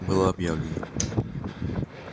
было объявлено